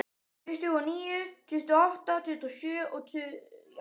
Tuttugu og níu, tuttugu og átta, tuttugu og sjö.